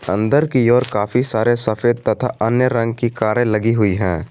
अंदर की ओर काफी सारे सफेद तथा अन्य रंग की कारे लगी हुई है।